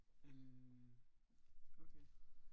Øh okay